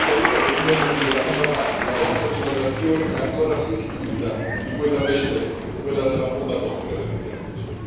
Ho paura che un giorno mi diranno Papà, la vostra generazione è ancora più stupida di quella precedente, quella della bomba atomica, per intenderci.